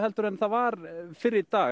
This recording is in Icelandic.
en það var fyrr í dag